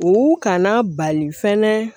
U kana bali fɛnɛ